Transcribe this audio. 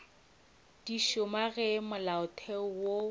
di šoma ge molaotheo wo